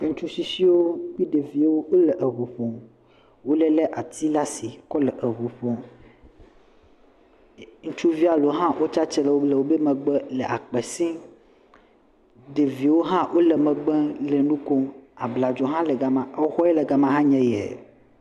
Ŋutsu tsitsiwo kple ɖeviwo le ʋuƒom wole ati ɖe asi kɔle ʋuƒom ŋutsuvi aɖewo ha tia titre ɖe womegbe le akpe sim ɖeviwo ha le megbe le nukom abladzo le gama xɔ yi le gama anye ɣi